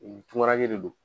U tɔrɔyalen de don.